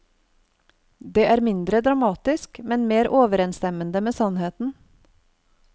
Det er mindre dramatisk, men mer overensstemmende med sannheten.